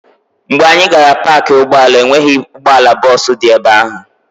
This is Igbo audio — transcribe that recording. Mgbe anyị gara na paakị ụgbọala, e nweghị ụgbọala bọọsụ dị ebe ahụ.